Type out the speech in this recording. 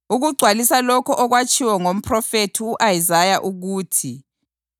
ukugcwalisa lokho okwatshiwo ngomphrofethi u-Isaya ukuthi: